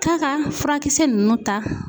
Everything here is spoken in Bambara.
K'a ka furakisɛ ninnu ta